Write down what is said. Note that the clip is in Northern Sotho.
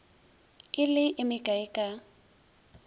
e le e mekae ka